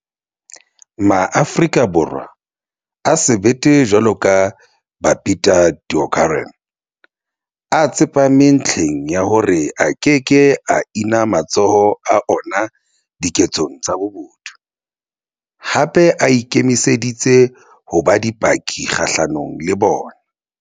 MaAfrika Borwa a sebete jwalo ka Babita Deokaran a tsepame ntlheng ya hore a keke a ina matsoho a ona diketsong tsa bobodu, hape a ikemiseditse ho ba dipaki kgahlanong le bona.